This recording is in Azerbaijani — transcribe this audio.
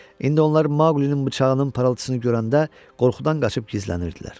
İndi onlar Maqlinin bıçağının parıltısını görəndə qorxudan qaçıb gizlənirdilər.